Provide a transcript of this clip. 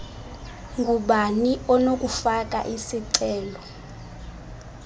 ngubani onokufaka isicelo